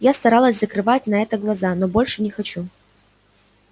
я старалась закрывать на это глаза но больше не хочу